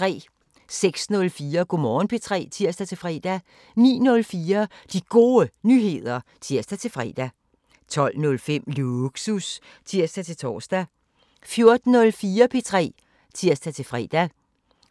06:04: Go' Morgen P3 (tir-fre) 09:04: De Gode Nyheder (tir-fre) 12:05: Lågsus (tir-tor) 14:04: P3 (tir-fre)